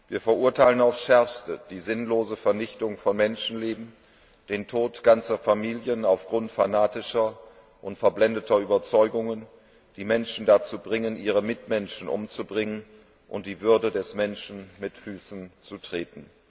Wir verurteilen aufs Schärfste die sinnlose Vernichtung von Menschenleben, den Tod ganzer Familien aufgrund fanatischer und verblendeter Überzeugungen, die Menschen dazu bringen, ihre Mitmenschen umzubringen und die Würde des Menschen mit Füßen zu treten.